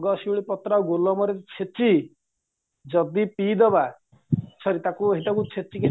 ଗଙ୍ଗ ଶିଉଳି ପତ୍ର ଆଉ ଗୋଲମରିଚ ଛେଚି ଯଦି ପିଇଦବା sorry ସେଇଟାକୁ ଛେଚିକି